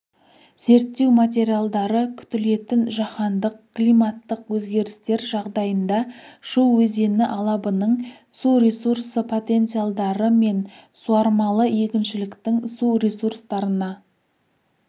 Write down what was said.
зерттеу материалдары күтілетін жаһандық климаттық өзгерістер жағдайында шу өзені алабының су ресурсы потенциалдары мен суармалы егіншіліктің су ресурстарына